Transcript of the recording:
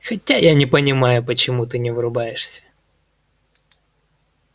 хотя я не понимаю почему ты не врубаешься